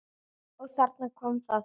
Og þarna kom það.